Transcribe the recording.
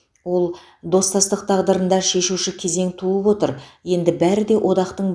ол достастық тағдырында шешуші кезең туып отыр енді бәрі де одақтың